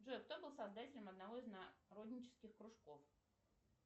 джой кто был создателем одного из народнических кружков